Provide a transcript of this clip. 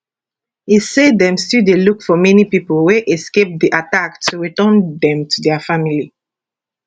e say dem still dey look for many pipo wey escape di attack to return dem to dia families